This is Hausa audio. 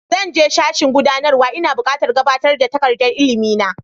Zan je sashin gudanarwa, ina buƙatar gabatar da takardar ilimi na.